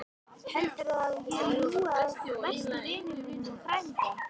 Heldurðu að ég ljúgi að besta vini mínum og frænda?